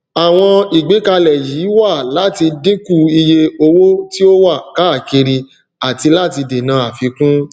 àwọn ìgbékalè yí wà láti dínkù iye owó tí ó wà káàkiri àti láti dènà àfikún